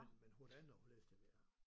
Men men hvordan og hvorledes det ved jeg ikke om